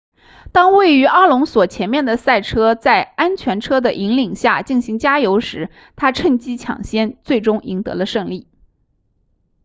当位于阿隆索前面的赛车在安全车的引领下进行加油时他趁机抢先最终赢得了胜利